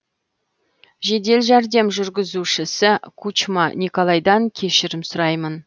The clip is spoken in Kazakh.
жедел жәрдем жүргізушісі кучма николайдан кешірім сұраймын